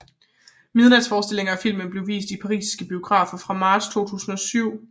Midnatsforestillinger af filmen blev vist i parisiske biografer fra marts 2007